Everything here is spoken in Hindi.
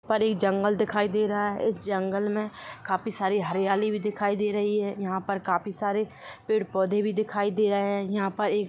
एक जंगल दिखाई दे रहा है इस जंगल में काफी सारी हरियाली भी दिखाई दे रही है यहाँ पे काफी सारे पेड़ पोधे भी दिखाई दे रहे है यहाँ पे एक--